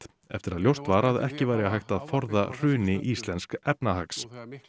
eftir að ljóst var að ekki væri hægt að forða hruni íslensks efnahags